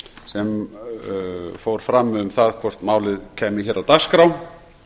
sem fór fram um það hvort málið kæmi hér á dagskrá